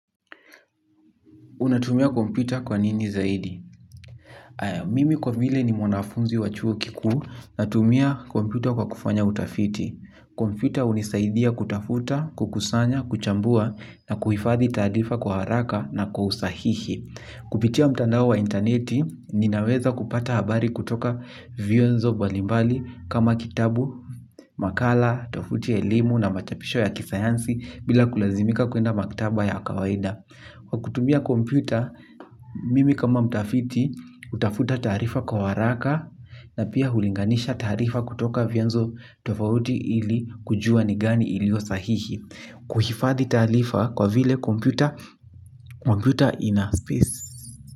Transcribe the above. Unatumia kompyuta kwa nini zaidi? Haya mimi kwa vile ni mwanafunzi wa chuo kikuu natumia kompyuta kwa kufanya utafiti. Kompyuta hunisaidia kutafuta, kukusanya, kuchambua na kuhifadhi taarifa kwa haraka na kwa usahihi. Kupitia mtandao wa intaneti, ninaweza kupata habari kutoka vyanzo mbalimbali kama kitabu, makala tofauti ya elimu na machapisho ya kisayansi bila kulazimika kwenda maktaba ya kawaida. Kwa kutumia kompyuta mimi kama mtafiti hutafuta taarifa kwa haraka na pia hulinganisha taarifa kutoka vyanzo tofauti ili kujua ni gani iliyo sahihi. Kuhifadhi taarifa kwa vile kompyuta, kompyuta ina space.